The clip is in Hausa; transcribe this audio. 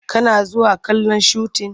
Kana zuwa kallon shutin?